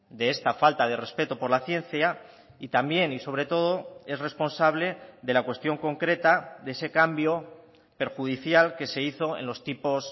de esta falta de respeto por la ciencia y también y sobre todo es responsable de la cuestión concreta de ese cambio perjudicial que se hizo en los tipos